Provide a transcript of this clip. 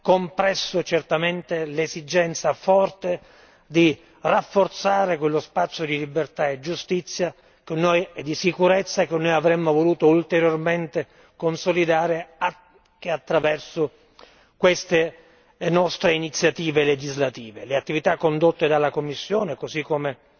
compresso certamente l'esigenza forte di rafforzare quello spazio di libertà, giustizia e di sicurezza, che noi avremmo voluto ulteriormente consolidare anche attraverso queste nostre iniziative legislative. Le attività condotte dalla Commissione così come